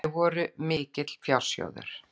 Þau voru mikill fjársjóður.